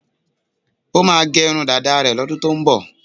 Ó máà ń gẹ irun dáda rẹ̀ lọ́dún tó ń bọ̀.